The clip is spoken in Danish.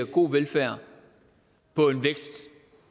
god velfærd på en vækst